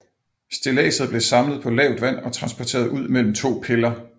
Stilladset blev samlet på lavt vand og transporteret ud mellem to piller